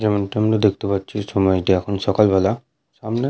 যেমনটা আমরা দেখতে পাচ্ছি সময়টি এখন সকালবেলা। সামনে।